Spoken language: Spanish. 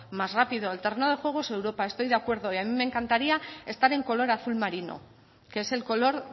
más rápido el terreno de juego es europa estoy de acuerdo y a mí me encantaría estar en color azul marino que es el color